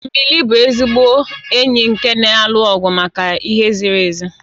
Emily bụ ezigbo enyi nke na-alụ ọgụ maka ihe ziri ezi.